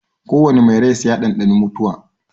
Ko wane mai rai sai ya ɗanɗani mutuwa.